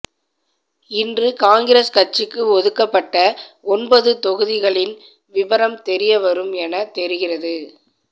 இன்று காங்கிரஸ் கட்சிக்கு ஒதுக்கப்பட்ட ஒன்பது தொகுதிகளின் விபரம் தெரிய வரும் என தெரிகிறது